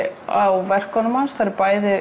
á verkum hans bæði